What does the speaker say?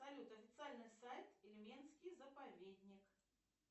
салют официальный сайт ильменский заповедник